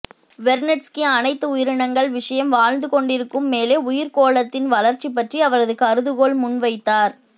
Vernadsky அனைத்து உயிரினங்கள் விஷயம் வாழ்ந்து கொண்டிருக்கும் மேலே உயிர்க்கோளத்தின் வளர்ச்சி பற்றி அவரது கருதுகோள் முன்வைத்தார்